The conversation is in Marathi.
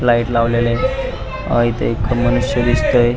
लाइट लावलेले आहेत अह मनुष्य अस दिसतय.